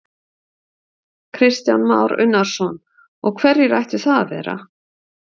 Kristján Már Unnarsson: Og hverjir ættu það að vera?